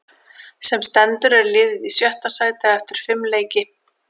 Sem stendur er liðið í sjötta sæti eftir fimm leiki.